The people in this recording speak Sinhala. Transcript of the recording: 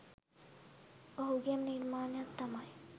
ඔහුගේම නිර්මාණයක් තමයි